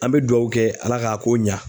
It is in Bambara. An bɛ duwawu kɛ Ala k'a ko ɲa.